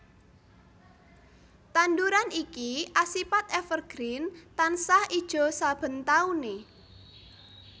Tanduran iki asipat evergreen tansah ijo saben taune